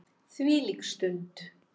Þvílík stund.